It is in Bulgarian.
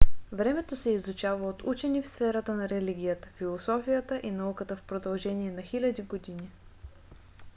времето се изучава от учени в сферата на религията философията и науката в продължение на хиляди години